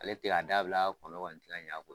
Ale tigɛ k'a dabila kɔnɔw kɔni tɛ ka ɲɛ a